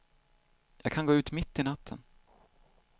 Jag kan gå ut mitt i natten.